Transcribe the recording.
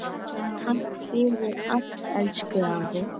Takk fyrir allt, elsku afi.